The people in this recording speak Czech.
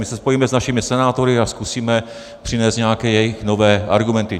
My se spojíme s našimi senátory a zkusíme přinést nějaké jejich nové argumenty.